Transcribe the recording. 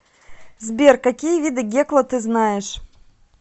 сбер какие виды гекла ты знаешь